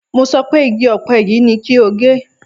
Mo sọ pé igi ọ̀pẹ yìí ni kí o gé!